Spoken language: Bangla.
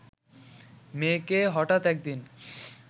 মেয়েকে হঠাৎ একদিন